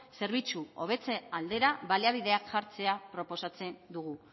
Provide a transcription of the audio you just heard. zerbitzu hobetze aldera baliabideak jartzea proposatzen dugu